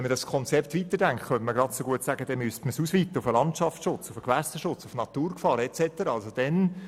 Denkt man dieses Konzept weiter, müsste man es genauso gut auf den Landschaftsschutz, den Gewässerschutz, die Naturgefahren und so weiter ausweiten.